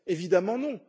Évidemment non!